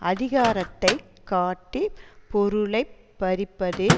அதிகாரத்தை காட்டி பொருளை பறிப்பது